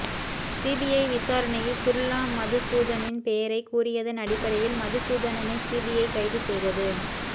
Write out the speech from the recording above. CBI விசாரணையில் சுர்லா மதுசூதனனின் பெயரை கூறியதன் அடிப்படையில் மதுசூதனனை சிபிஐ கைது செய்தது